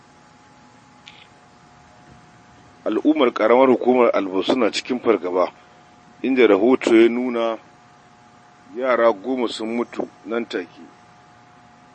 Al'ummar Ƙaramar Hukumar Albasu na cikin fargaba inda rahoto ya ce yara goma sun mutu nan take.